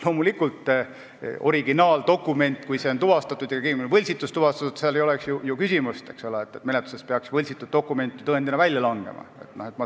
Loomulikult, kui originaaldokument on tuvastatud, õigemini, selle võltsitus on tuvastatud, siis ei ole ju küsimust, sest tõendina esitatud võltsitud dokument peaks menetluse käigus välja langema.